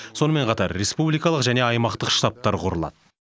сонымен қатар республикалық және аймақтық штабтар құрылады